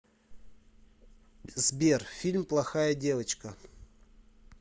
сбер фильм плохая девочка